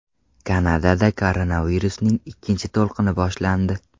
Kanadada koronavirusning ikkinchi to‘lqini boshlandi.